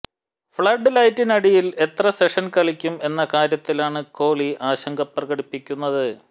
flood ലൈറ്റിനടിയിൽ എത്ര session കളിക്കും എന്ന കാര്യത്തിലാണ് കോഹ്ലി ആശങ്ക പ്രകടിപ്പിക്കുന്നത്